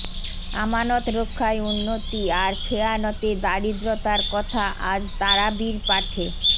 আমানত রক্ষায় উন্নতি আর খেয়ানতে দারিদ্র্যতার কথা আজ তারাবির পাঠে